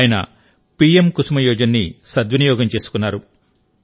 ఆయన పిఎం కుసుమ్ యోజనని సద్వినియోగం చేసుకున్నారు